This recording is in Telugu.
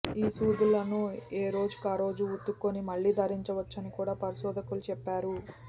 ఈ స్నూద్లను ఏ రోజుకారోజు ఉతుక్కుని మళ్లీ ధరించవచ్చని కూడా పరిశోధకులు చెప్పారు